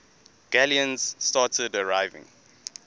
galleons started arriving